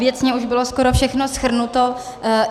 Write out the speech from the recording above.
Věcně už bylo skoro všechno shrnuto.